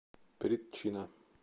притчина